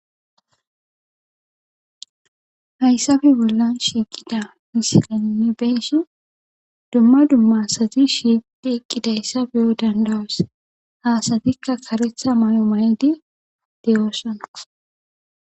Haysape bollan shiqida misileyn nu be'ishin dumma dumma asati shiqidi eqidaysa be'o dandayos ha asatika karetha mayo mayidi de'osona